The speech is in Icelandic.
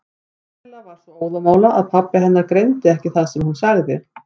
Kamilla var svo óðamála að pabbi hennar greindi ekki það sem hún sagði.